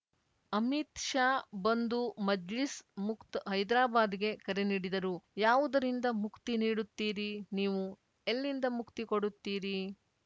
ಅಮಿತ್‌ ಶಾ ಬಂದು ಮಜ್ಲಿಸ್‌ ಮುಕ್ತ ಹೈದರಾಬಾದ್‌ಗೆ ಕರೆ ನೀಡಿದರು ಯಾವುದರಿಂದ ಮುಕ್ತಿ ನೀಡುತ್ತೀರಿ ನೀವು ಎಲ್ಲಿಂದ ಮುಕ್ತಿ ಕೊಡುತ್ತೀರಿ